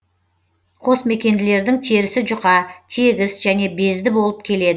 қосмекенділердің терісі жұқа тегіс және безді болып келеді